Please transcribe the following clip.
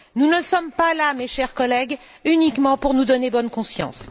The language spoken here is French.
Nous ne sommes pas là, mes chers collègues, uniquement pour nous donner bonne conscience.